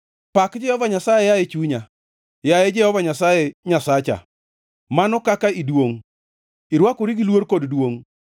Pak Jehova Nyasaye, yaye chunya. Yaye Jehova Nyasaye Nyasacha, mano kaka iduongʼ, irwakori gi luor kod duongʼ.